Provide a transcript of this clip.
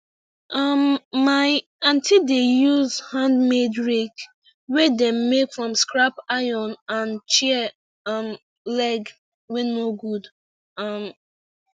um my aunty dey use handmade rake wey dem make from scrap iron and chair um leg wey no good um